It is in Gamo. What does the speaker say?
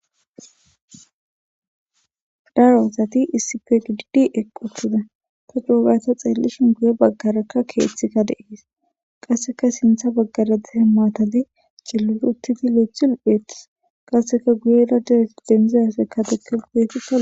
daro osati issi fe dudidi eqquthuda ta doogata xeellishin guye baggaraka keeththika deees qasseka sintha baggaradehe maatade cilulu uttidi leethulupheettis qasseka guye radee denzezafekkadekelupeetika